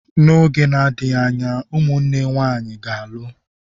N'oge na-adịghị anya, ụmụnne nwanyị ga-alụ.